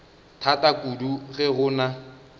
thata kudu ge go na